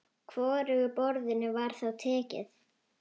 Hvorugu boðinu var þá tekið.